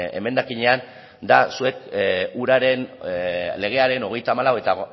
emendakinean da zuek uraren legearen hogeita hamalau eta